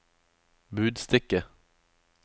budstikke